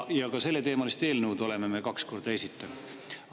Ja selleteemalise eelnõu oleme me kaks korda esitanud.